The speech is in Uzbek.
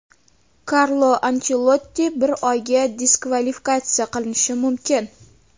Karlo Anchelotti bir oyga diskvalifikatsiya qilinishi mumkin.